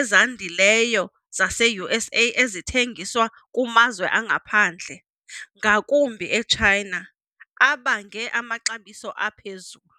ezandileyo zaseUSA ezithengiswa kumazwe angaphandle, ngakumbi eChina, abange amaxabiso aphezulu.